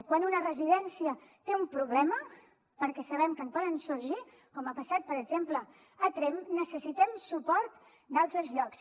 quan una residència té un problema perquè sabem que en poden sorgir com ha passat per exemple a tremp necessitem suport d’altres llocs